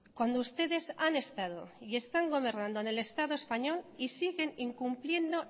cuando ustedes han estado y están gobernando en el estado español y siguen incumpliendo